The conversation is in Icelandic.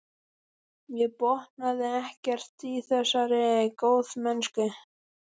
Ég botnaði ekkert í þessari góðmennsku.